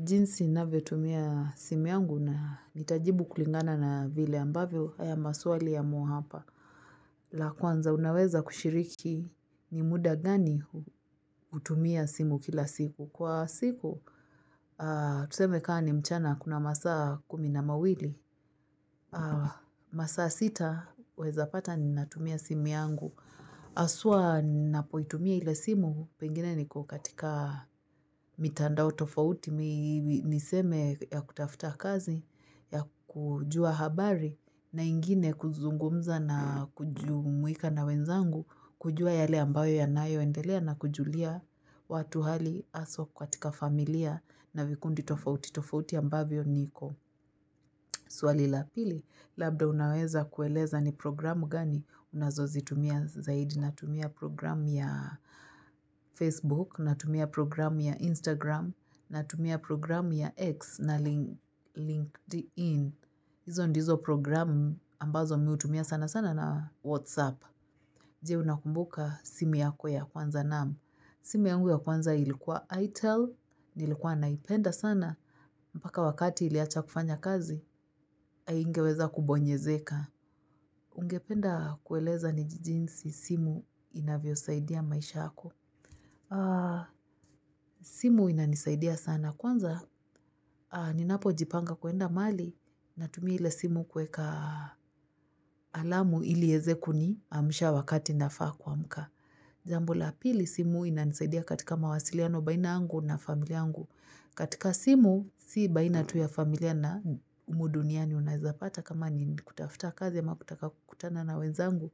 Jinsi navyo tumia simu yangu na ntajibu kulingana na vile ambavyo haya maswali yamo hapa. La kwanza unaweza kushiriki ni muda gani hutumia simu kila siku. Kwa siku, tuseme kaa ni mchana kuna masaa kumi na mawili. Masaa sita, waeza pata ni natumia simu yangu. Haswa ninapoitumia ile simu pengine niko katika mitandao tofauti niseme ya kutafuta kazi ya kujua habari na ingine kuzungumza na kujumwika na wenzangu kujua yale ambayo ya nayo endelea na kujulia watu hali haswa katika familia na vikundi tofauti. Tofauti ambavyo niko. Swali la pili, labda unaweza kueleza ni programu gani unazozi tumia zaidi? Na tumia programu ya Facebook na tumia programu ya Instagram na tumia programu ya X na LinkedIn. Izo ndizo programu ambazo mihutumia sana sana na WhatsApp. Jee unakumbuka simu yako ya kwanza? Naamu simu yangu ya kwanza ilikuwa ITEL, nilikuwa naipenda sana. Mpaka wakati iliacha kufanya kazi, haingeweza kubonyezeka. Ungependa kueleza ni jinsi simu inavyo saidia maisha yako. Simu inanisaidia sana. Kwanza, ninapo jipanga kuenda mahali na tumia ile simu kueka alamu ilieze kuniamusha wakati nafaa kuamuka. Jambo la pili simu inanisaidia katika mawasiliano baina yangu na familia yangu. Katika simu, si baina tu ya familia na humu duniani unazapata kama ni kutafuta kazi ama kutaka kukutana na wenzangu.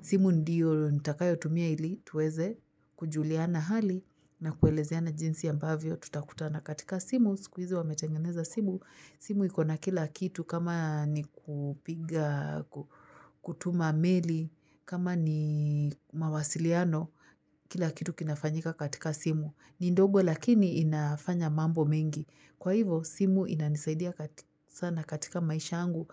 Simu ndiyo nitakayo tumia ili tuweze kujuliana hali na kuelezeana jinsi ambavyo tutakutana. Katika simu, sikuizi wametengeneza simu. Simu iko na kila kitu kama ni kupiga, kutuma meli, kama ni mawasiliano, kila kitu kinafanyika katika simu. Ni ndogo lakini inafanya mambo mengi. Kwa hivo simu inanisaidia sana katika maisha yangu,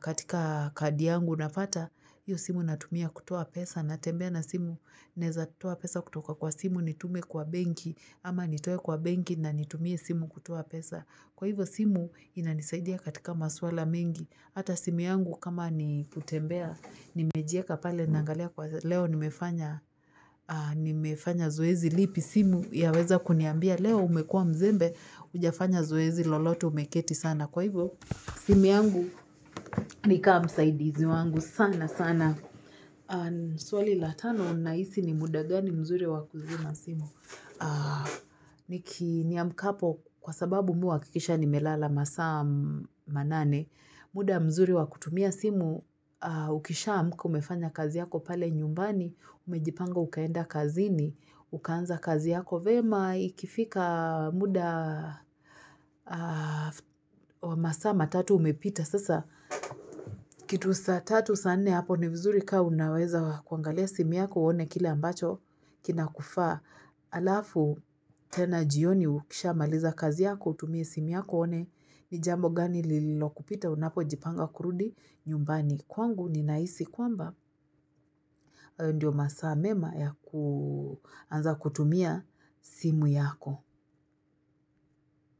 katika kadi yangu nafata. Iyo simu natumia kutoa pesa na tembea na simu naeza toa pesa kutoka kwa simu nitume kwa benki ama nitoe kwa benki na nitumie simu kutoa pesa. Kwa hivyo simu ina nisaidia katika maswala mingi Hata simu yangu kama ni kutembea nimejieka pale nangalia kwa leo nimefanya nimefanya zoezi lipi simu ya weza kuniambia Leo umekua mzembe hujafanya zoezi lolote umeketi sana Kwa hivo simu yangu nikaa msaidizi wangu sana sana. Swali la tano nahisi ni muda gani mzuri wakuzima simu? Niki niamkapo kwa sababu mi huhakikisha nimelala masaa manane, muda mzuri wa kutumia simu, ukisha amuka umefanya kazi yako pale nyumbani, umejipanga ukaenda kazini, ukaanza kazi yako. Vema ikifika muda wa masaa matatu umepita sasa. Kitu saa tatu saa nne hapo ni vizuri kaa unaweza kuangalia simu yako uone kila ambacho. Kina kufaa alafu tena jioni ukisha maliza kazi yako utumie simu yako uone. Ni jambo gani lilo kupita unapo jipanga kurudi nyumbani. Kwangu ninahisi kwamba ndio masaa mema ya kuanza kutumia simu yako.